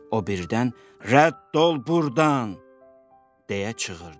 O birdən "Rədd ol burdan!" deyə çığırdı.